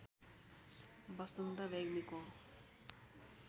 बसन्त रेग्मीको